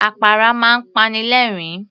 Àpárá máa ń pani lẹ̀ẹ́rín